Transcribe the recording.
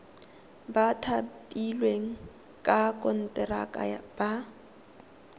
ba thapilweng ka konteraka ba